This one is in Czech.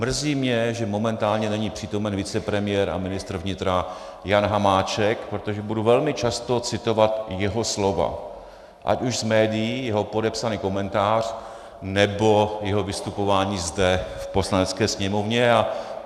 Mrzí mě, že momentálně není přítomen vicepremiér a ministr vnitra Jan Hamáček, protože budu velmi často citovat jeho slova, ať už z médií jeho podepsaný komentář, nebo jeho vystupování zde v Poslanecké sněmovně.